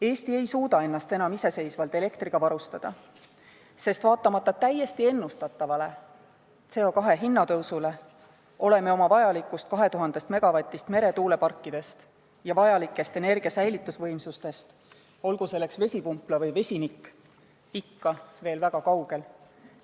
Eesti ei suuda ennast enam iseseisvalt elektriga varustada, sest vaatamata täiesti ennustatavale CO2 hinna tõusule oleme oma vajalikust 2000 MW-st meretuuleparkide puhul ja vajalikust energia säilituse võimsusest, olgu see seotud vesipumpla või vesinikuga, ikka veel väga kaugel.